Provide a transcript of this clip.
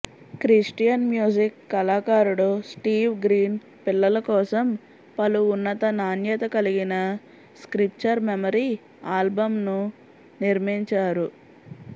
Christian music కళాకారుడు Steve Green పిల్లల కోసం పలు ఉన్నత నాణ్యత కలిగిన స్క్రిప్చర్ మెమరీ ఆల్బమ్లను నిర్మించారు